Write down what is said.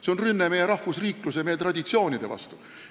See on rünne meie rahvusriikluse, meie traditsioonide vastu.